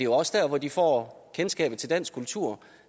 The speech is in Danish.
også der hvor de får kendskabet til dansk kultur